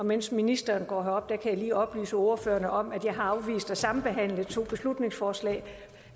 mens ministeren går herop kan jeg lige oplyse ordførerne om at jeg har afvist at sambehandle to beslutningsforslag